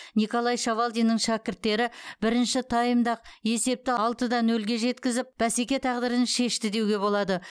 николай шавалдиннің шәкірттері бірінші таймда ақ есепті алты да нөлге жеткізіп бәсеке тағдырын шешті деуге болады